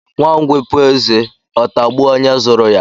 Nwa ngwe puo eze ọ tagbuo ónyé zuru ya.